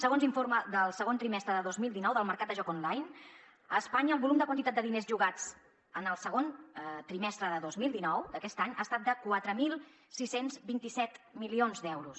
segons l’informe del segon trimestre de dos mil dinou del mercat de joc online a espanya el volum de quantitat de diners jugats en el segon trimestre de dos mil dinou d’aquest any ha sigut de quatre mil sis cents i vint set milions d’euros